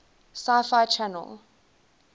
sci fi channel